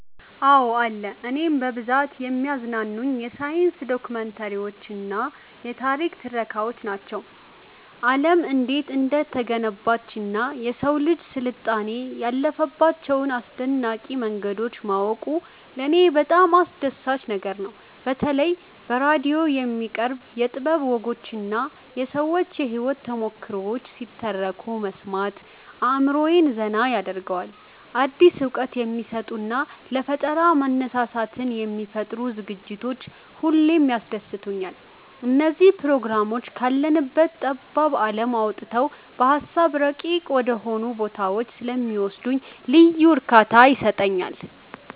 አዎ አለ። እኔን በብዛት የሚያዝናኑኝ የሳይንስ ዶክመንተሪዎችና የታሪክ ትረካዎች ናቸው። ዓለም እንዴት እንደተገነባችና የሰው ልጅ ስልጣኔ ያለፈባቸውን አስደናቂ መንገዶች ማወቁ ለኔ በጣም አስደሳች ነገር ነው። በተለይ በራዲዮ የሚቀርቡ የጥበብ ወጎችና የሰዎች የህይወት ተሞክሮዎች ሲተረኩ መስማት አእምሮዬን ዘና ያደርገዋል። አዲስ እውቀት የሚሰጡና ለፈጠራ መነሳሳትን የሚፈጥሩ ዝግጅቶች ሁሌም ያስደስቱኛል። እነዚህ ፕሮግራሞች ካለንበት ጠባብ ዓለም አውጥተው በሃሳብ ረቂቅ ወደሆኑ ቦታዎች ስለሚወስዱኝ ልዩ እርካታ ይሰጡኛል።